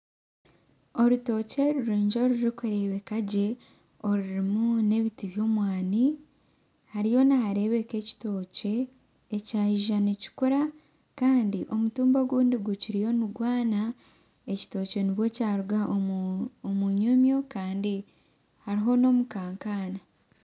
Orutookye rurungi orurikureebeka gye rurimu nebiti by'omwani hariyo nigareebeka ekitookye ekyaija nikikura kandi omutumba ogundi gukiriyo nigwana ekitookye nibwe kyaruga omunyomyo kandi hariho n'omukankana